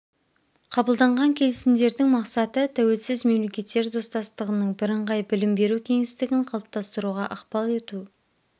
қабылданған келісімдердің мақсаты тәуелсіз мемлекеттер достастығының бірыңғай білім беру кеңістігін қалыптастыруға ықпал ету